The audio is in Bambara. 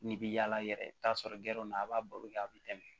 N'i bi yaala yɛrɛ i bi t'a sɔrɔ gɛrɛndon na a b'a baro kɛ a be tɛmɛ